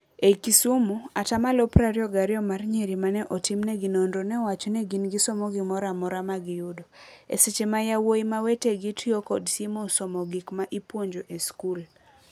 Ei Kisumu, atamalo prabirio gario mar nyiri mane otimnegi nonro neowaco ni gin gisomo gimoramora magiyudo. E seche ma yawuoyi ma wetegi tio kod simo somo gik ma ipuonjo e skul.